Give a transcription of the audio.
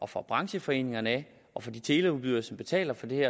fra brancheforeninger og fra de teleudbydere som betaler for det